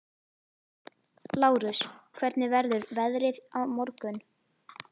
Lárus, hvernig verður veðrið á morgun?